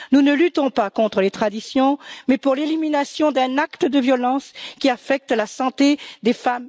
Nous ne luttons pas contre les traditions, mais pour l'élimination d'un acte de violence qui affecte la santé des femmes et des filles.